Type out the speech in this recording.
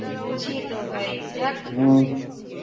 আমি বুঝি তো ভাই. যাক